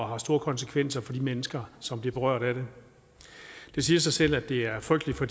har store konsekvenser for de mennesker som bliver berørt af det det siger sig selv at det er frygteligt for